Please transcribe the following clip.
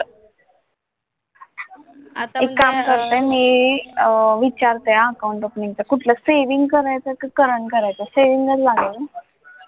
आता एक काम करता मी अं विचारते हा account opening च कुठलं saving करायचं की current करायचं saving चं लागेल ना